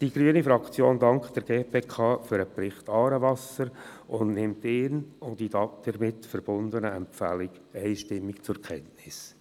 Die grüne Fraktion dankt der GPK für den Bericht «Aarewasser» und nimmt diesen sowie die damit verbundenen Empfehlungen einstimmig zur Kenntnis.